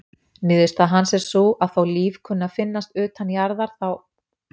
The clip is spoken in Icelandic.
Niðurstaða hans er sú að þó líf kunni að finnast utan jarðar þá:.